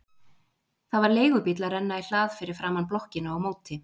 Það var leigubíll að renna í hlað fyrir framan blokkina á móti.